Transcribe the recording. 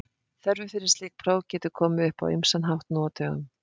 Þörfin fyrir slík próf getur komið upp á ýmsan hátt nú á dögum.